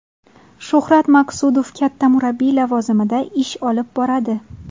Shuhrat Maqsudov katta murabbiy lavozimida ish olib boradi.